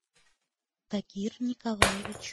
тагир николаевич